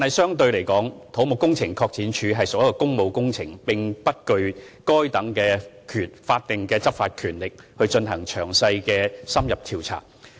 相對而言，土木工程拓展署負責處理工務工程，並不具備執法權力來進行詳細而深入的調查。